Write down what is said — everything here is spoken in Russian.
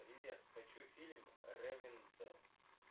привет хочу фильм рэвиндел